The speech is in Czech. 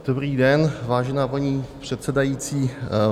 Dobrý den, vážená paní předsedající.